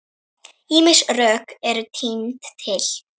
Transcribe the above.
Ýmis rök eru tínd til.